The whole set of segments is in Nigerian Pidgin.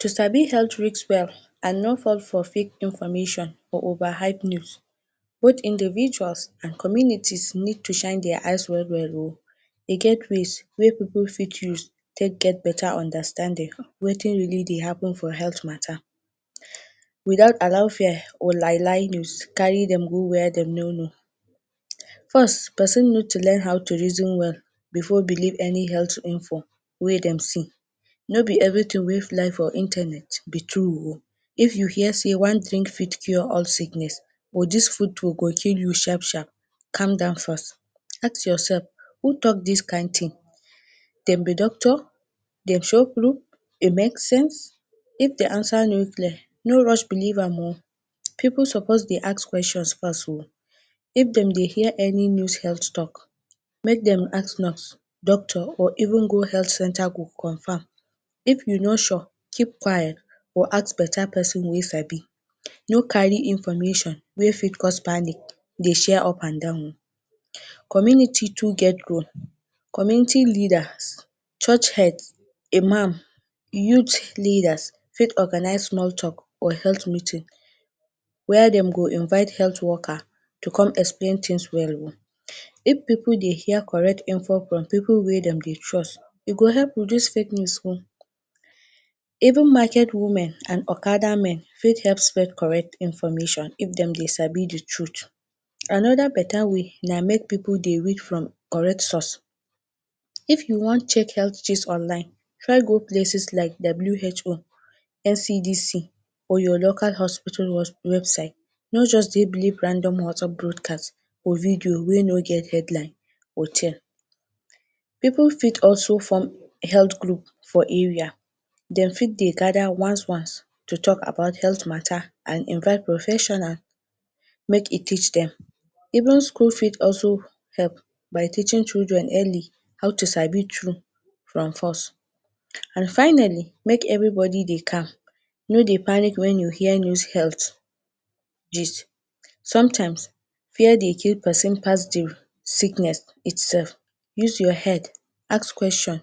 To sabi health risk well and no fall for fake information or over hyped news, both individuals and community need to shine their eyes well well o e get ways wey pipu fit use take get beta understanding wetin de really happen for health matter without allowing fear or lie lie news carry dem go where dem no no. first person need to learn how to reason well before believe any health info wey dem see. No be everything wey fly for internet be true oo. If you hear sey one green seed cure all sickness with this food go kill you sharp sharp calm down first ask your self who talk dis kind thing, dem be doctor, dem show proof, e make sense, if de answer no clear no rush believe am o pipu suppose de ask questions first o if dem dey hear any news health talk, make dem ask nurse, doctor or even go health centers go confirm if you no sure keep quite or ask beta person wey sabi no carry information wey fit cause panic dey fear up and down o. community too get group, community leaders, church heads, imam, youths leader fit organize small talk or health meeting where dem go invite health worker to come explain things well o if pipu dey collect correct info from pipu wey dem de trust e go help reduce fake news o. even market women and okada men fit help spread correct information and if dem de sabi de truth. another beta way na make pipu dey read from correct source if you wan check health gist online, try go places like WHO, NCDC or your local hospital website no just believe random whatsapp group cast video wey no get head line or tel. pipu fit also fit form health group for area, dem fit dey gather once once to talk about health mata and invite professional make e teach dem. even school fit also help by teaching children early how to sabi true and false and finally make everybody de calm no de panic when you hear news health gist. sometimes fear de kill person pass de sickness itself, use your head ask questions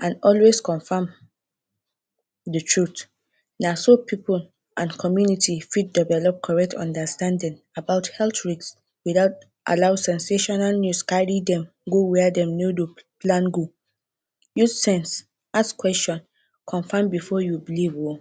and always confirm de truth naso pipu and community fit develop correct understanding about health risk without allow sensational news carry dem go where dem no dey plan go use sense ask questions confirm before you believe o